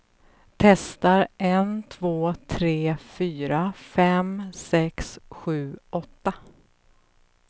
Testar en två tre fyra fem sex sju åtta.